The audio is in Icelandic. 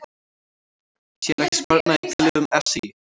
Sér ekki sparnað í tillögum SÍ